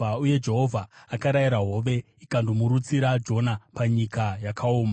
Uye Jehovha akarayira hove, ikandorutsira Jona panyika yakaoma.